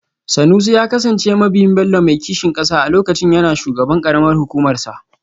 Sanusi ya kasance mabiyin Bello mai kishin kasa a lokacin yana shugaban karamar hukumarsa